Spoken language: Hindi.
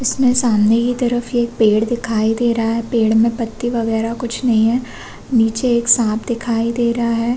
इसमें सामने की तरफ एक पेड़ दिखाई दे रहा है पेड़ में पत्ते वग़ैरा कुछ नहीं है निचे एक सांप दिखाई दे रहा है।